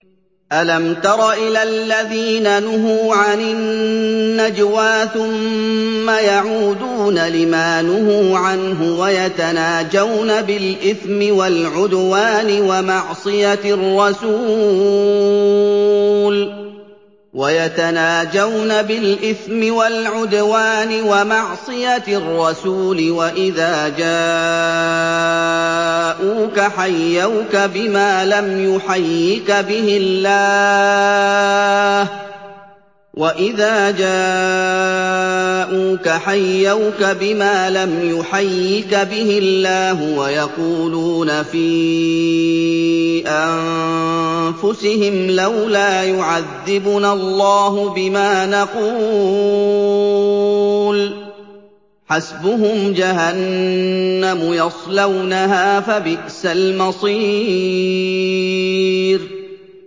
أَلَمْ تَرَ إِلَى الَّذِينَ نُهُوا عَنِ النَّجْوَىٰ ثُمَّ يَعُودُونَ لِمَا نُهُوا عَنْهُ وَيَتَنَاجَوْنَ بِالْإِثْمِ وَالْعُدْوَانِ وَمَعْصِيَتِ الرَّسُولِ وَإِذَا جَاءُوكَ حَيَّوْكَ بِمَا لَمْ يُحَيِّكَ بِهِ اللَّهُ وَيَقُولُونَ فِي أَنفُسِهِمْ لَوْلَا يُعَذِّبُنَا اللَّهُ بِمَا نَقُولُ ۚ حَسْبُهُمْ جَهَنَّمُ يَصْلَوْنَهَا ۖ فَبِئْسَ الْمَصِيرُ